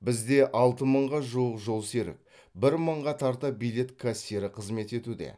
бізде алты мыңға жуық жолсерік бір мыңға тарта билет кассирі қызмет етуде